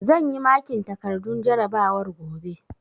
Zan yi makin takardun jarabawar gobe